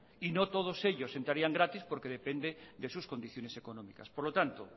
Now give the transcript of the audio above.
y no todos ellos entrarían gratis porque depende de sus condiciones económicas por lo tanto